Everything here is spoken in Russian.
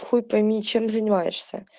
хуй пойми чем занимаешься